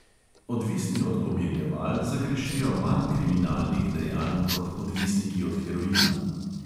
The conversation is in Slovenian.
Odvisni od pomirjeval zagrešijo manj kriminalnih dejanj kot odvisniki od heroina.